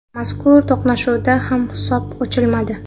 Mazkur to‘qnashuvda ham hisob ochilmadi.